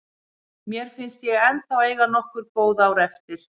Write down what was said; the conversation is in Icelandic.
Mér finnst ég ennþá eiga nokkur góð ár eftir.